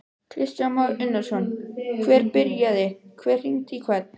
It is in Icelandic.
Kristján Már Unnarsson: Hver byrjaði, hver hringdi í hvern?